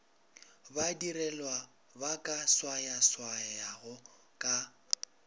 badirelwa ba ka swayaswayago ka